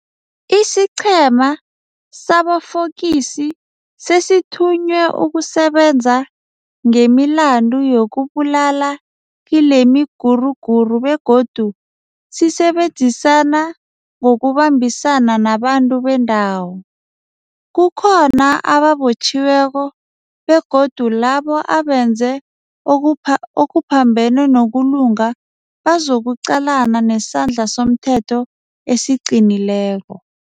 Isiqhema sabofokisi sesithunywe ukusebenza ngemilandu yokubulala kilemiguruguru begodu sisebenzisana ngokubambisana nabantu bendawo. Kukhona ababotjhiweko begodu labo abenze okuphambene nokulunga bazokuqalana nesandla somthetho esiqinileko.